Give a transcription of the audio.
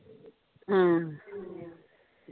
ਹਮ